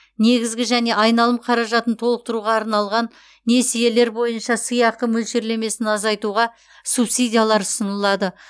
негізгі және айналым қаражатын толықтыруға алынған несиелер бойынша сыйақы мөлшерлемесін азайтуға субсидиялар ұсынылады